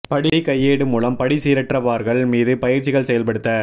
படி கையேடு மூலம் படி சீரற்ற பார்கள் மீது பயிற்சிகள் செயல்படுத்த